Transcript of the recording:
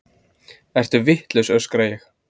Ertu vitlaus, öskra ég.